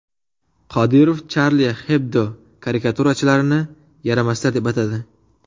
Qodirov Charlie Hebdo karikaturachilarini yaramaslar deb atadi.